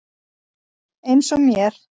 Eins og mér.